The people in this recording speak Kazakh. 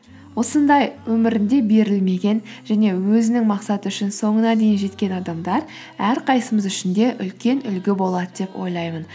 осындай өмірінде берілмеген және өзінің мақсаты үшін соңына дейін жеткен адамдар әрқайсымыз үшін де үлкен үлгі болады деп ойлаймын